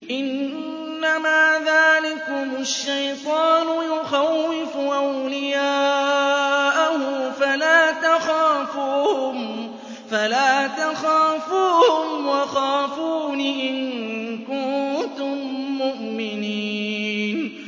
إِنَّمَا ذَٰلِكُمُ الشَّيْطَانُ يُخَوِّفُ أَوْلِيَاءَهُ فَلَا تَخَافُوهُمْ وَخَافُونِ إِن كُنتُم مُّؤْمِنِينَ